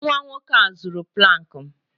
Nwa nwoke a zuru plank m